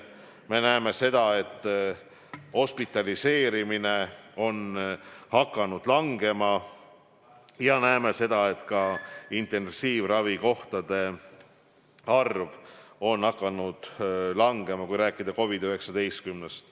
Me näeme seda, et hospitaliseerimine on hakanud langema, ja näeme seda, et ka intensiivravikohtade arv on hakanud langema, kui rääkida COVID-19-st.